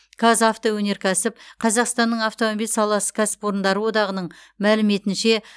қазавтоөнеркәсіп қазақстанның автомобиль саласы кәсіпорындары одағының мәліметінше